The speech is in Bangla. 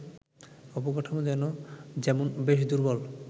অবকাঠামো যেমন বেশ দুর্বল